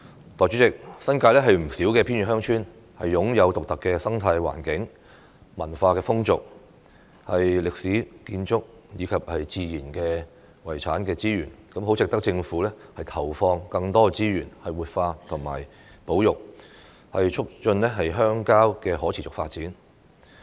代理主席，新界不少偏遠鄉村擁有獨特的生態環境、文化風俗、歷史建築和自然遺產資源，十分值得政府投放更多資源活化和保育，促進鄉郊的可持續發展。